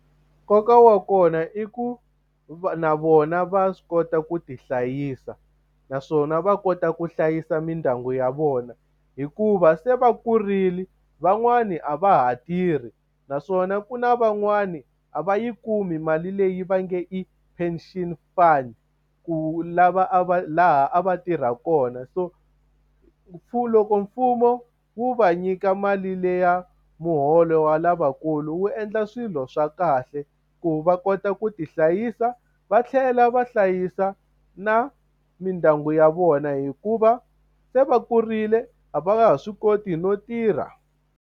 Nkoka wa kona i ku va na vona va swi kota ku ti hlayisa, naswona va kota ku hlayisa mindyangu ya vona. Hikuva se va kurile, van'wani a va ha tirhi. Naswona ku na van'wani a va yi kumi mali leyi va nge i pension fund ku lava a va laha a va tirha kona. So loko mfumo wu va nyika mali liya muholo wa lavakulu wu endla swilo swa kahle. Ku va kota ku ti hlayisa va tlhela va hlayisa na mindyangu ya vona hikuva se va kurile a va nga ha swi koti no tirha.